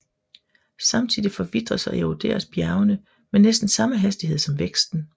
Samtidigt forvitres og eroderes bjergene med næsten samme hastighed som væksten